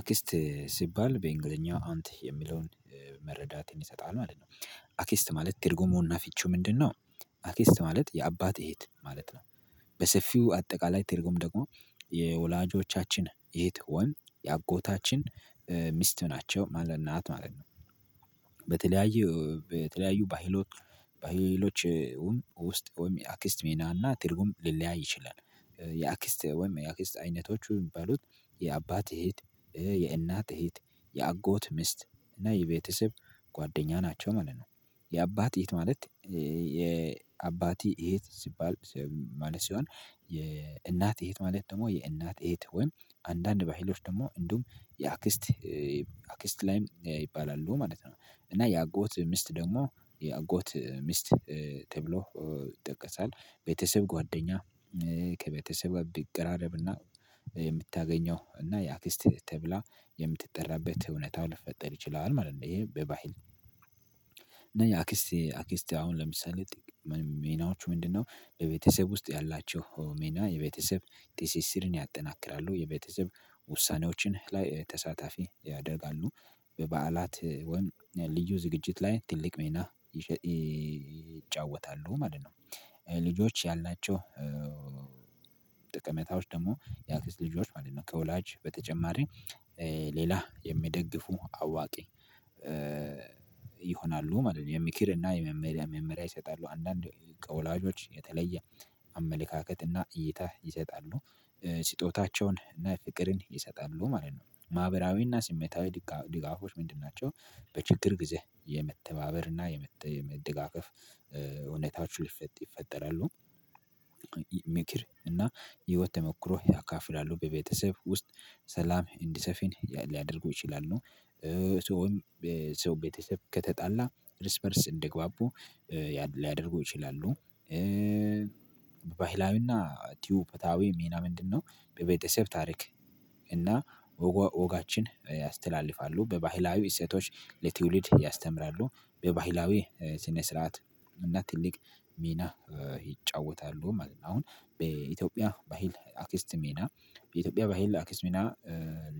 አክስት ሲባል በእንግሊዘኛ አንት የሚለውን መረዳት ይሰጣል ማለት ነው። አኪስት ማለት ትርጉሙና ፍቺው ምንድነው? አክስት ማለት የአባት እህት ማለት ነው። በሰፊው አጠቃላይ ትርጉም ደግሞ የወላጆቻችን ይሄ ትሆን የአጎታችን ሚስት ናቸው ማለት ናት ማለት ነው። በተለያዩ በተለያዩ ባህሎት ባህሎች ውስጥ ወይም የአክስት ሚና እና ትርጉም ሊለያይ ይችላል። የአክስት ወይም የአክስት አይነቶቹ የሚባሉት የአባት እህት የእናት እህት የአጎት ሚስት እና የቤተሰብ ጓደኛ ናቸው ማለት ነው። የአባት እህት ማለት የአባቲ እህት ሲባል ማለት ሲሆን የእናት እህት ማለት ደግሞ የእናት እህት ወይም አንዳንድ ባሃይሎች ደግሞ እንዲሁም የአክስት አክስት ላይም ይባላሉ ማለት ነው። እና የአጎት ሚስት ደግሞ የአጎት ሚስት ተብሎ ይጠቀሳል። ቤተሰብ ጓደኛ ከቤተሰብ ብትቀራረብና የምታገኘው እና የአክስት ተብላ የምትጠራበት እውነታው ሊፈጠር ይችላል ማለት ነው። ይሄ በባህል እና የአክስቴ አክስቴ አሁን ለምሳሌ ምንም ሚናዎቹ ምንድነው? በቤተሰብ ውስጥ ያላቸው ሜና የቤተሰብ ትሲሲርን ያጠናክራሉ የቤተሰብ ውሳኔዎችን ላይ ተሳታፊ ያደርጋሉ በበዓላት ወይም ልዩ ዝግጅት ላይ ትልቅ ሚና ይጫወታሉ ማለት ነው። ልጆች ያላቸው። ጥቅመታዎች ደግሞ የአክስት ልጆች ማለት ነው ከወላጅ በተጨማሪ ሌላ የሚደግፉ አዋቂ ይሆናሉ ማለት ነው። የምክርና የመመሪያ መመሪያ ይሰጣሉ አንዳንዴ ከወላጆች የተለየ አመለካከትና እይታ ይሰጣሉ ስጦታቸውን እና ፍቅርን ይሰጣሉ ማለት ነው። ማህበራዊና ስሜታዊ ድጋፎች ምንድን ናቸው? በችግር ጊዜ የመተባበር እና የመደጋገፍ እውነታቹ ሊፈጥ ይፈጠራሉ። ምክር እና ህይወት ተሞክሮ ያካፍላሉ በቤተሰብ ውስጥ ሰላም እንዲሰፊን ሊያደርጉ ይችላሉ። ሰው ሰው ቤተሰብ ከተጣላ እርስ በእርስ እንዲግባቡ ሊያደርጉ ይችላሉ። ባይላዊና ኢትዮፕያዊ ሚና ምንድነው? በቤተሰብ ታሪክ እና ወጋችን ያስተላልፋሉ በባህላዊ እሴቶች ለትውልድ ያስተምራሉ። በባህላዊ ስነ ስርዓት እና ትልቅ ሚና ይጫወታሉ። አሁን በኢትዮጵያ ባህል አክስት ሚና በኢትዮጵያ በህል አክስት ሜና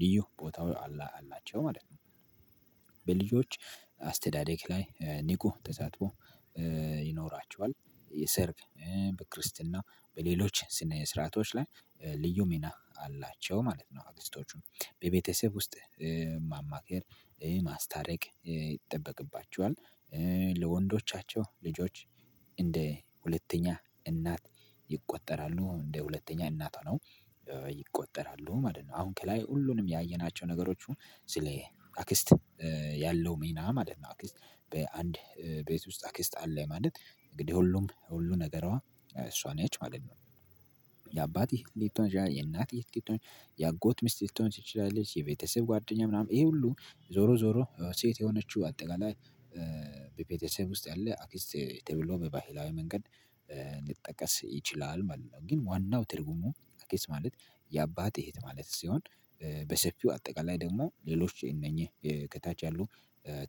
ልዩ ቦታው አላቸው ማለት ነው። በልዩዎች አስተዳደግ ላይ ንቁ ተሳትፎ ይኖራቸዋል። የሰርግ ክርስትና በሌሎች ስነ ስርዓቶች ላይ ልዩ ሚና አላቸው ማለት ነው። አክስቶቹ በቤተሰብ ውስጥ ማማከር ማስታረቅ ይጠበቅባቸዋል። ለወንዶቻቸው ልጆች እንደ ሁለተኛ እናት ይቆጠራሉ እንደ ሁለተኛ እናት ሆኖ ይቆጠራሉ ማለት ነው። አሁን ከላይ ሁሉንም ያየናቸው ነገሮች ሁን ስለ አክስት ያለው ሚና ማለት ነው አክስት በአንድ ቤት ውስጥ አክስት አለ ማለት እንግዲህ ሁሉም ሁሉ ነገሯ እሷን ነች ማለት ነው። የአባት እህት ብቶን የእናት እህት ብቶን የአጎት ሚስት ሊቶን ትችላለች የቤተሰብ ጓደኛ ምናምን ይሄ ሁሉ ዞሮ ዞሮ ሴት የሆነችው አጠቃላይ የቤተሰብ ውስጥ ያለ አክስት ተብሎ በባህላዊ መንገድ ሊጠቀስ ይችላል ማለት ነው። ግን ዋናው ትርጉሙ አክስት ማለት የአባት እህት ማለት ሲሆን በሰፊው አጠቃላይ ደግሞ ሌሎች እነኚህ ከታች ያሉ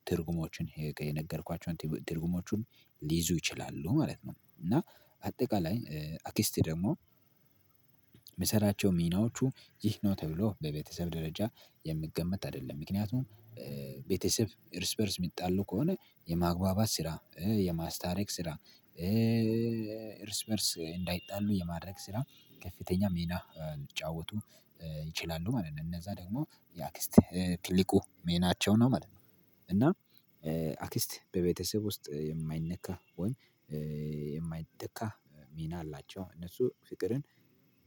ትርጉሞችን የነገርኳቸው ትርጉሞቹን ሊይዙ ይችላሉ ማለት ነው። እና አጠቃላይ አክስት ደግሞ የምሰራቸው ሚናዎቹ ይህ ነው ተብሎ በቤተሰብ ደረጃ የሚገመት አይደለም። ምክንያቱም ቤተሰብ እርስ በእርስ የሚጣሉ ከሆነ የማግባባት ስራ የማስታረቅ ስራ እርስ በእርስ እንዳይጣሉ የማድረግ ስራ ከፍተኛ ሚና ሊጫወቱ ይችላሉ ማለት ነው። እነዛ ደግሞ የአክስት ትልቁ ሚናቸው ነው ማለት ነው። እና አክስት በቤተሰብ ውስጥ የማይነካ ወይም የማይተካ ሚና አላቸው እነሱ ፍቅርን